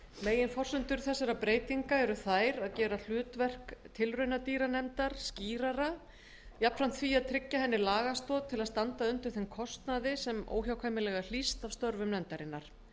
meginforsendur þessara breytinga eru þær að gera hlutverk tilraunadýranefndar skýrara jafnframt því að tryggja henni lagastoð til að standa undir þeim kostnaði sem óhjákvæmilega hlýst af störfum nefndarinnar